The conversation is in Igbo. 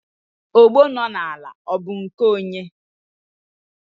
ogbo nọ n'ala ọ bụ nke onye?